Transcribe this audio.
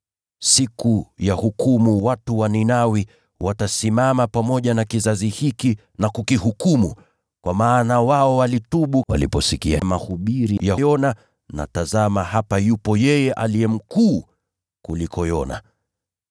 Siku ya hukumu watu wa Ninawi watasimama pamoja na kizazi hiki na kukihukumu; kwa maana wao walitubu waliposikia mahubiri ya Yona. Na tazama, hapa yupo yeye aliye mkuu kuliko Yona.